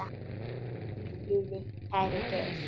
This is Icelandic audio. Hvíl í friði, kæri Geir.